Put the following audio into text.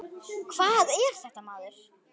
Hvað er þetta, maður!